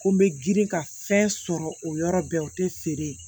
Ko n bɛ girin ka fɛn sɔrɔ o yɔrɔ bɛɛ o tɛ feere